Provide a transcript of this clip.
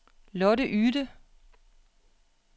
Lotte Yde